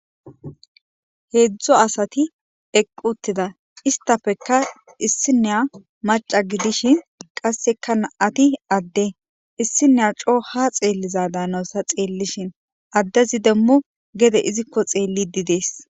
Heezu asati equtida istapeka issiniya maca gidishin kaseka nam'ati adde issiniya coo ha xeeliza daanawusu ta xeelishin addezi demo gede iziko xeelidi de'es.